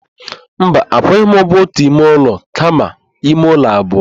Mba, akwụghị m ụgwọ ótù ime ụlọ kama ime ụlọ abụọ.